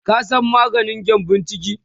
ka San maganin gyambun ciki?